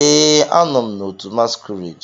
Ee, a nọ m na otu masquerade.